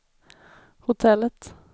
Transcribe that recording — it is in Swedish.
hotellet